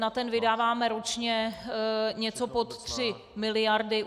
Na ten vydáváme ročně něco pod 3 miliardy.